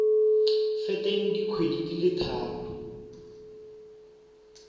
feteng dikgwedi di le tharo